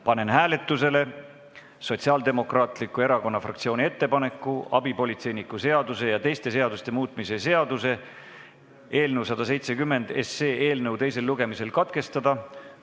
Panen hääletusele Sotsiaaldemokraatliku Erakonna fraktsiooni ettepaneku abipolitseiniku seaduse ja teiste seaduste muutmise seaduse eelnõu 170 teisel lugemisel katkestada.